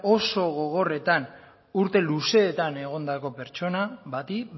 oso gogorretan urte luzeetan egondako pertsona bati